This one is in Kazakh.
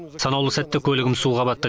санаулы сәтте көлігім суға батты